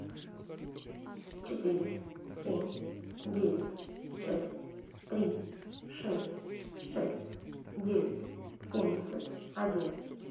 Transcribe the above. четыре семь девять шесть три шесть шесть девять семьдесят один